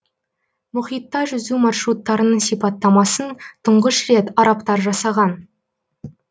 мұхитта жүзу маршруттарының сипаттамасын тұңғыш рет арабтар жасаған